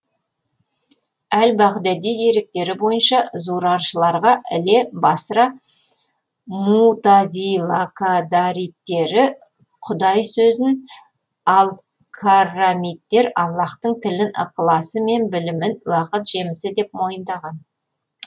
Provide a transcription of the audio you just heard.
әл бағдади деректері бойынша зураршыларға іле басра мутазилакадариттері кудай сөзін ал каррамиттер аллаһтың тілін ықыласы мен білімін уақыт жемісі деп мойындаған